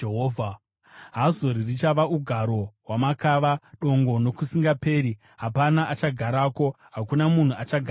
“Hazori richava ugaro hwamakava, dongo nokusingaperi. Hapana achagarako; hakuna munhu achagara mariri.”